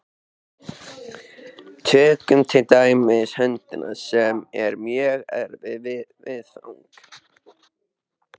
Tökum til dæmis höndina, sem er mjög erfið viðfangs.